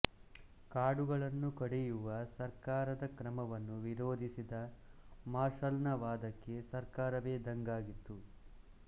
ಕಾಡುಗಳನ್ನು ಕಡಿಯುವ ಸರ್ಕಾರದ ಕ್ರಮವನ್ನು ವಿರೋಧಿಸಿದ ಮಾರ್ಷಲ್ನ ವಾದಕ್ಕೆ ಸರ್ಕಾರವೇ ದಂಗಾಗಿತ್ತು